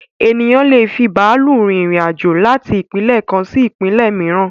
Ènìyàn lé è fi bàálù rin irin-àjò láti ìpínlẹ̀ kan sí ìpínlẹ̀ mìíràn